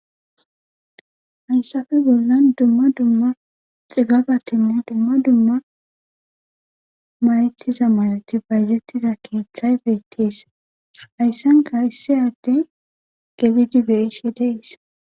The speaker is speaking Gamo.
Haysape bollan de'za dumma dumma xibabetine dumma dumma mayetiza mayoti